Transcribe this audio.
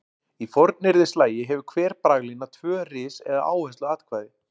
Í fornyrðislagi hefur hver braglína tvö ris eða áhersluatkvæði.